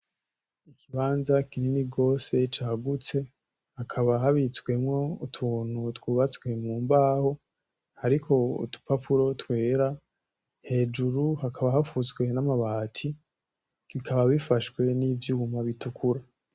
Ikibanza kinini gose cagutse hakaba habitswemwo utuntu twubatswe mumbaho hariko udupapuro twera hejuru hakaba hapfutswe namabati bikaba bifashwe nivyuma bitukura